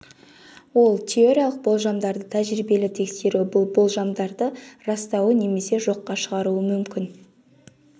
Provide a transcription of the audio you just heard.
ол теориялық болжамдарды тәжірибелі тексеру бұл болжамдарды растауы немесе жоққа шығаруы мүмкін